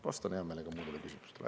Vastan hea meelega muudele küsimustele.